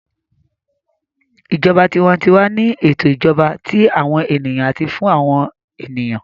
Ìjọba tiwantiwa ni ètò ìjọba tí àwọn ènìyàn àti fún àwọn ènìyàn